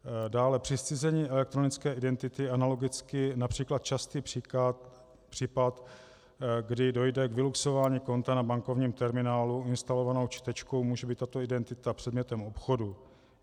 Dále při zcizení elektronické identity analogicky například častý případ, kdy dojde k vyluxování konta na bankovním terminálu instalovanou čtečkou, může být tato identita předmětem obchodu.